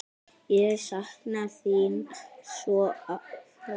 Ég sakna þín svo sárt.